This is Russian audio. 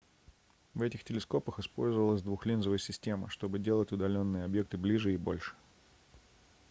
в этих телескопах использовалась двухлинзовая система чтобы делать удалённые объекты ближе и больше